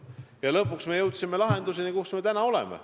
Ja lõpuks me jõudsime lahenduseni, kus me täna oleme.